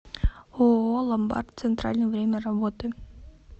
ооо ломбард центральный время работы